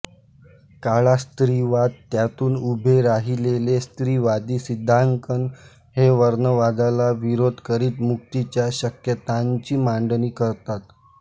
काळा स्त्रीवाद त्यातून उभे राहिलेले स्त्रीवादी सिद्धांकन हे वर्णवादाला विरोध करीत मुक्तीच्या शक्यतांची मांडणी करतात